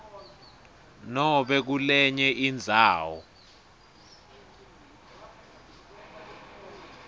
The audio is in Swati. nobe kulenye indzawo